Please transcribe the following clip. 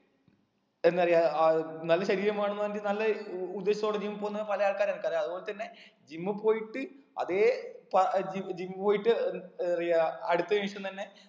എന്നറിയ ആ നല്ല ശരീരം വേണംന്ന് പറഞ്ഞിട്ട് നല്ല ഉഉദ്ദേശത്തോടെ gym പോന്ന പല ആൾക്കാരെ എനിക്കറിയ അതുപോലെ തന്നെ gym പോയിട്ട് അതേ പ ജി gym പോയിട്ട് ഏർ ഏറിയ അടുത്ത നിമിഷം തന്നെ